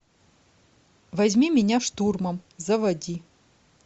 возьми меня штурмом заводи